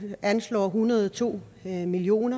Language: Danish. anslår en hundrede og to million